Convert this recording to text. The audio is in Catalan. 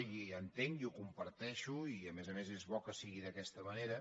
i ho entenc i ho comparteixo i a més a més és bo que sigui d’aquesta manera